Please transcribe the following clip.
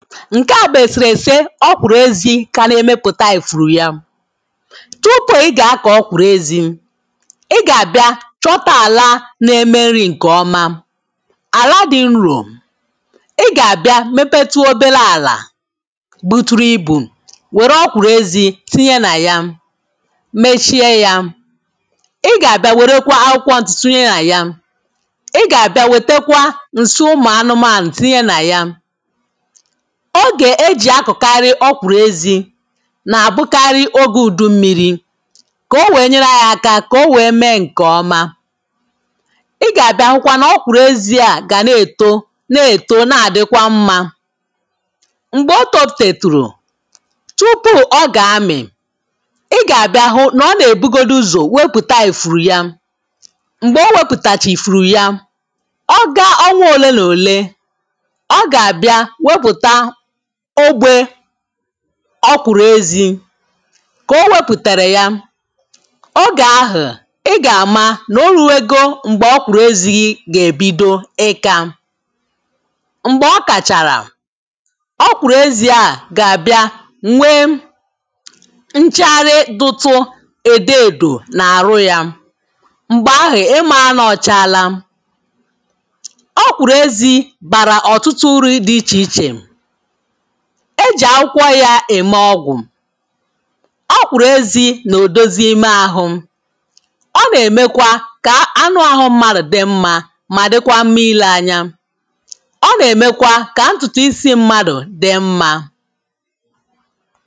ǹke à bù èsèrèsè ọ̀ kwụ̀rụ̀ ezi kà a na-emepùta èfuru̇ ya tupù ị gà-akọ̀ ọ̀kwụ̀rụ̀ ezi ị gà-àbịa chọta àla na-eme nri̇ ǹkè ọma àla dị̇ nrò ị gà-àbịa mepetu oberė àlà buturu ibù wère ọkwụ̀rụ̀ ezi tinye nà ya mechie yȧ ị gà-àbịa wèrekwa akwụkwọ ǹtụ̀tinye nà ya ị gà-àbịa wètekwa ǹsị ụmụ̀ anụmanụ̀ tinye nà ya ogè e jì akọ̀karị ọ kwụ̀rụ̀ ezi nà-àbụkarị ogė ùdu mmiri̇ kà o wèe nyere ayi aka kà o wèe mee ǹkè ọma ị gà-àbịa hụkwa nà ọ kwụ̀rụ̀ ezi à gà na-èto na-èto na-àdịkwa mmȧ m̀gbè o tọpụ̀tètùrù tupu ọ gà-amị̀ ị gà-àbịa hụ nà ọ nà-èbugodu uzò wepụ̀ta èfuru ya m̀gbè o wepụ̀tàchì fụ̀rụ̀ ya ọ ga ọ nwee òle nà òle ọ gà-àbịa ọ̀gwė ọ̀kwụ̀rụ̀ezi kà o wepùtàrà ya o gà-ahụ̀ ị gà-àma n’olùwego m̀gbè ọ̀kwụ̀rụ̀ezi gà-èbido ịka m̀gbè ọ kàchàrà ọ̀kwụ̀rụ̀ezi a gà-àbịa m̀we nchàra dutu èdo èdò n’àrụ ya m̀gbè ahụ̀ ị mȧ anọ ọ̀chaala ọ̀kwụ̀rụ̀ezi bàrà ọ̀tụtụ uru̇ dị ichè ichè e jị akwụkwọ ya eme ọgwụ ọkwụrụ ezi na odozi ime ahụ ọ na-emekwa ka anụ ahụ mmadụ dị mma ma dịkwa mmile anya ọ na-emekwa ka ntụtụ isi mmadụ dị mma